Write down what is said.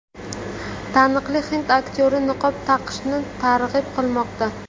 Taniqli hind aktyorlari niqob taqishni targ‘ib qilmoqda.